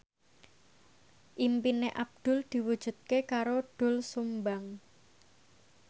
impine Abdul diwujudke karo Doel Sumbang